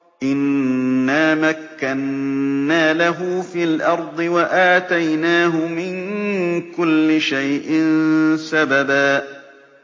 إِنَّا مَكَّنَّا لَهُ فِي الْأَرْضِ وَآتَيْنَاهُ مِن كُلِّ شَيْءٍ سَبَبًا